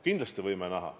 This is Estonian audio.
Kindlasti võime näha.